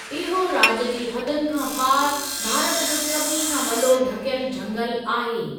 इहो राज्य जी हदुनि खां पार भारत जो सभिनी खां वॾो ढकियल झंगल आहे।